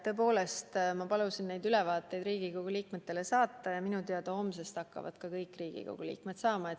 Tõepoolest ma palusin neid ülevaateid Riigikogu liikmetele saata ja minu teada homsest hakkavad kõik Riigikogu liikmed neid saama.